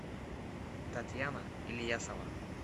татьяна ильясова